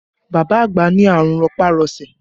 Bàbá àgbà ní àrùn rọpá-rọsẹ̀